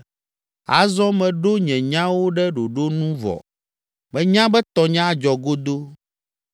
Azɔ meɖo nye nyawo ɖe ɖoɖo nu vɔ, menya be tɔnye adzɔ godoo.